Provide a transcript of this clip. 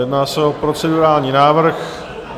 Jedná se o procedurální návrh.